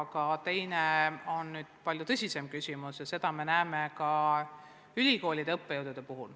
Aga teine tõsine küsimus on ülikoolide õppejõudude puhul.